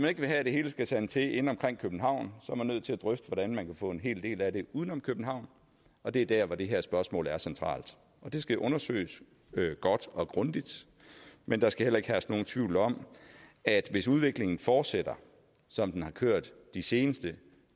ikke vil have at det hele skal sande til inde omkring københavn er man nødt til at drøfte hvordan man kan få en hel del af den uden om københavn og det er dér hvor det her spørgsmål er centralt det skal undersøges godt og grundigt men der skal heller ikke herske nogen tvivl om at hvis udviklingen fortsætter som den har kørt de sidste